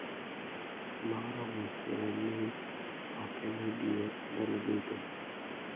Ma oromo siro ni ok en adier ndalo duto